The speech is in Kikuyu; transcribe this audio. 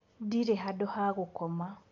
Ndirĩ handũ ha gũkoma.